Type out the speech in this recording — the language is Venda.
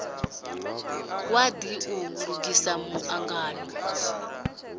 wadi u lugisela mu angano